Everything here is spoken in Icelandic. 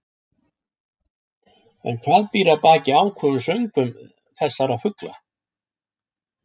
En hvað býr að baki áköfum söngvum þessara fugla?